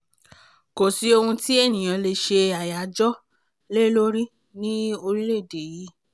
kò sí ohun tí ènìyàn lè ṣe àyájọ́ lé lórí ní orílẹ̀‐èdè yìí